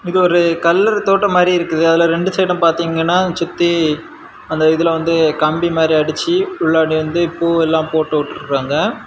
இது ஒரு கல்லற தோட்டம் மாதிரி இருக்கு அதுல ரெண்டு சைடும் பாத்தீங்கன்னா சுத்தி அந்த இதுல வந்து கம்பி மாதிரி அடிச்சி உள்ளாடி வந்து பூவெல்லாம் போட்டுவிட்டுறாங்க.